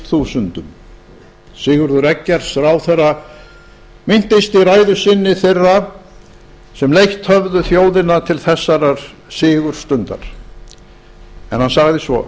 þúsundum sigurður eggerz ráðherra minntist í ræðu sinni þeirra sem leitt höfðu þjóðina til þessarar sigurstundar en sagði svo